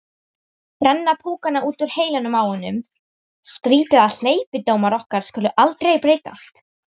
Brenna púkana út úr heilanum á honum: skrýtið að hleypidómar okkar skuli aldrei breytast.